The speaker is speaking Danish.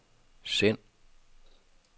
send